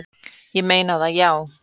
"""Ég er að meina það, já."""